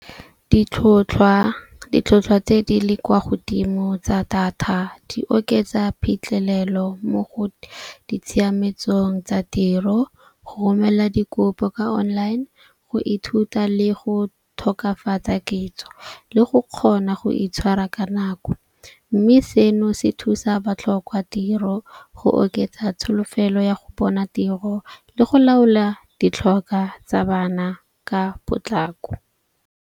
Ditlhotlhwa tse di le kwa godimo tsa data di oketsa phitlhelelo mo go ditshiametsong tsa tiro, go romela dikopo ka online, go ithuta le go tokafatsa kitso le go kgona go itshwara ka nako. Mme seno se thusa batlhoka tiro go oketsa tsholofelo ya go bona tiro le go laola ditlhokwa tsa bana ka potlako.